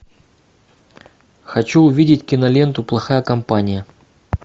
хочу увидеть киноленту плохая компания